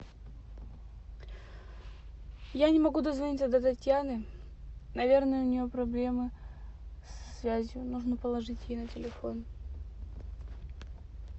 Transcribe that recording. я не могу дозвониться до татьяны наверное у нее проблемы со связью нужно положить ей на телефон